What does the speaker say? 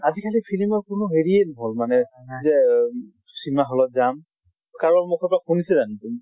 আজি কালি ফিলিমৰ কোনো হেৰিয়ে নহল মানে। যে cinema hall ত যাম। কাৰবাৰ মুখত শুনিছা জানো তুমি?